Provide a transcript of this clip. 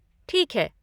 ठीक है।